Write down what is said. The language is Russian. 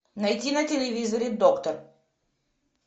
найди на телевизоре доктор